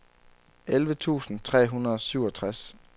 elleve tusind tre hundrede og syvogtres